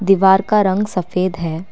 दीवार का रंग सफेद है।